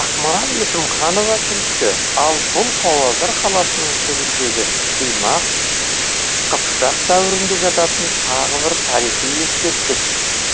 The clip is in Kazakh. ақмарал есімханова тілші ал бұл павлодар қаласының түбіндегі қимақ қыпшақ дәуірінде жататын тағы бір тарихи ескерткіш